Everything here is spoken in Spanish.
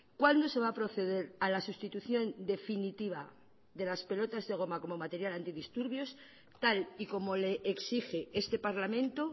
cuándo se va a proceder a la sustitución definitiva de las pelotas de goma como material antidisturbios tal y como le exige este parlamento